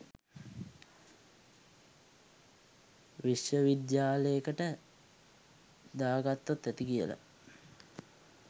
විශ්ව විද්යාලෙකට දාගත්තොත් ඇති කියල.